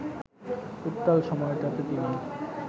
উত্তাল সময়টাতে তিনি